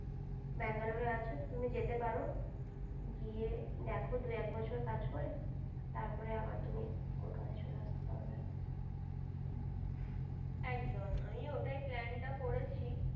Bangalore আছো তো তুমি যেতে পারো দেখো দু এক বছর কাজ করে তারপরে আবার তুমি কলকাতায় চলে আস্তে পারবে একদম আমিও ওটাই plan টা করেছি